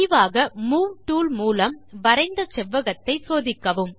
முடிவாக move tool மூலம் வரைந்த செவ்வகத்தை சோதிக்கவும்